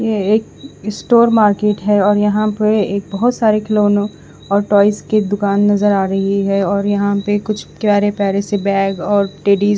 ये एक store market है और यहाँ पर एक बोहोत सारे खिलोनो और टॉयज की दुकान नज़र आ रही है और यहाँ पे कुछ प्यारे प्यारे से बेग और टेडीस --